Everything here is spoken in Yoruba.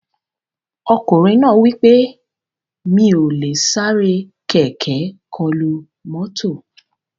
Ọkùnrin náà wí pé "Mi ò lè sáré kẹ̀kẹ́ kọlu mọ́tò"